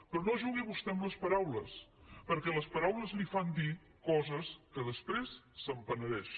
però no jugui vostè amb les paraules perquè les paraules li fan dir coses que després se’n penedeix